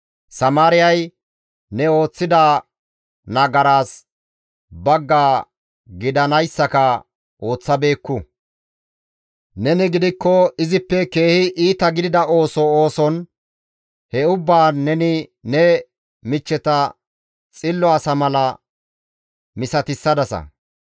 Samaariyay ne ooththida nagaraas bagga gidanayssaka ooththabeekku; neni gidikko izippe keehi iita gidida ooso ooson he ubbaan neni ne michcheta xillo asa mala misatissadasa.